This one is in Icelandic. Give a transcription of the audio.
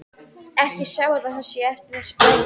Ekki að sjá að svo sé eftir þessu að dæma.